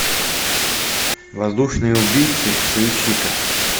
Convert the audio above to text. воздушные убийцы поищи ка